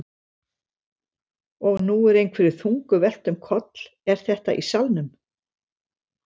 Og nú er einhverju þungu velt um koll. er þetta í salnum?